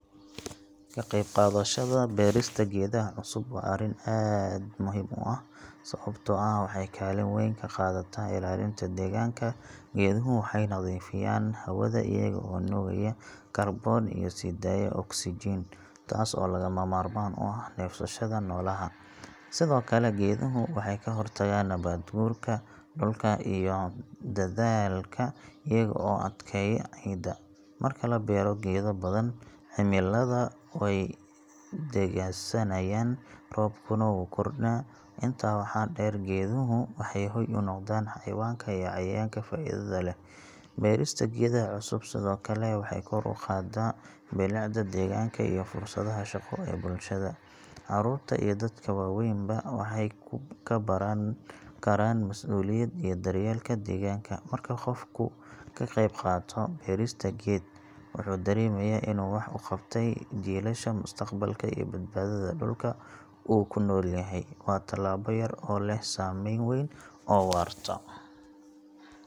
Ka qayb qaadashada beerista geedaha cusub waa arrin aad muhiim u ah sababtoo ah waxay kaalin weyn ka qaadataa ilaalinta deegaanka. Geeduhu waxay nadiifiyaan hawada iyaga oo nuugaya kaarboon iyo sii daaya oksijiin, taas oo lagama maarmaan u ah neefsashada noolaha. Sidoo kale geeduhu waxay ka hortagaan nabaad guurka dhulka iyo daadadka iyaga oo adkeeya ciidda. Marka la beero geedo badan, cimilada way degganaanaysaa, roobkuna wuu kordhaa. Intaa waxaa dheer, geeduhu waxay hoy u noqdaan xayawaanka iyo cayayaanka faa’iidada leh. Beerista geedaha cusub sidoo kale waxay kor u qaadaa bilicda deegaanka iyo fursadaha shaqo ee bulshada. Carruurta iyo dadka waaweynba waxay ka baran karaan mas’uuliyad iyo daryeelka deegaanka. Marka qofku ka qayb qaato beerista geed, wuxuu dareemayaa inuu wax u qabtay jiilasha mustaqbalka iyo badbaadada dhulka uu ku nool yahay. Waa tallaabo yar oo leh saameyn weyn oo waarta.